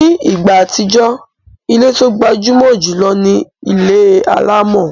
Ní ìgbà àtijọ́, ilé tó gbajúmọ̀ jùlọ ni ilé alámọ̀